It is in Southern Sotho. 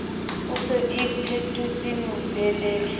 o se o iphetotse moleleri